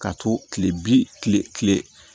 Ka to kile bi kile